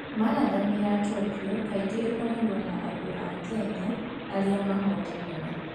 Marathon ya Tokyo kaingĩ ĩkoragwo na andũ a Kenya arĩa mahootanaga.